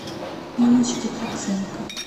инночке проценко